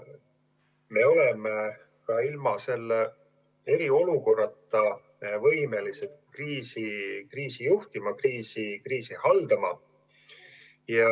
Me oleme ka ilma eriolukorrata võimelised kriisi juhtima, kriisi haldama.